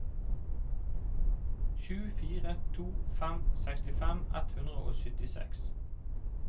sju fire to fem sekstifem ett hundre og syttiseks